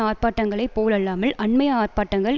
ஆர்ப்பாட்டங்களைப் போலல்லாமல் அண்மைய ஆர்ப்பாட்டங்கள்